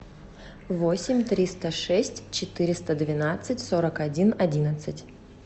восемь триста шесть четыреста двенадцать сорок один одиннадцать